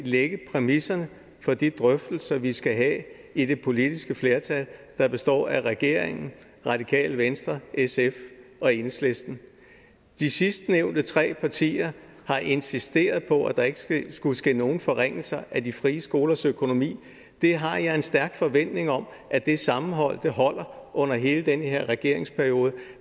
lægge præmisserne for de drøftelser vi skal have i det politiske flertal der består af regeringen radikale venstre sf og enhedslisten de sidstnævnte tre partier har insisteret på at der ikke skulle ske nogen forringelser af de frie skolers økonomi det har jeg en stærk forventning om at det sammenhold holder under hele den her regeringsperiode